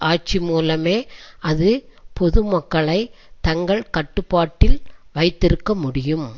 ஆட்சி மூலமே அது பொதுமக்களை தங்கள் கட்டுப்பாட்டில் வைத்திருக்க முடியும்